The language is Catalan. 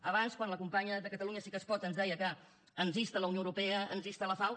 abans quan la companya de catalunya sí que es pot ens deia que ens insta la unió europea ens insta la fao